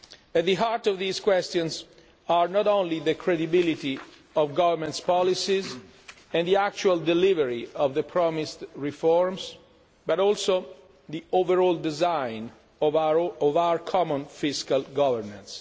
At the heart of these questions are not only the credibility of governments' policies and the actual delivery of the promised reforms, but also the overall design of our common fiscal governance.